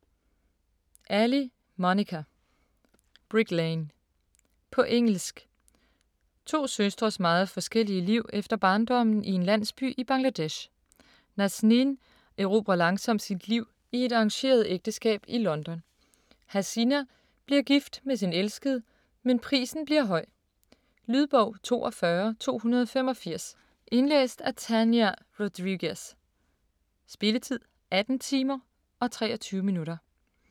Ali, Monica: Brick Lane På engelsk. To søstres meget forskellige liv efter barndommen i en landsby i Bangladesh. Nazneen erobrer langsomt sit liv i et arrangeret ægteskab i London, Hasina bliver gift med sin elskede, men prisen bliver høj. Lydbog 42285 Indlæst af Tania Rodriguez Spilletid: 18 timer, 23 minutter.